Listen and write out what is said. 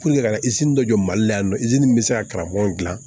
ka dɔ jɔ mali la yan nɔ bɛ se ka karamɔgɔ dilan